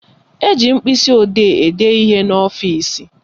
Eji mkpịsịodee ede ihe n'ọfịsi